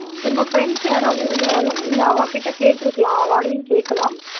உங்க friends யாராவது இருந்தாலும் நீங்க அவா கிட்ட கேட்டிருக்கலாம் அவாளையும் கேட்கலாம்